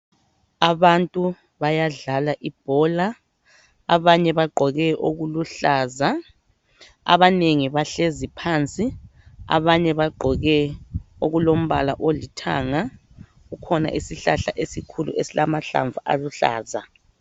Abantu bayadlala ibhola abanye bagqoke okuluhlaza abanengi bahlezi phansi abanye bagqoke okulombala olithanga. Kukhona isihlahla esikhulu esilamahlamvu aluhlaza.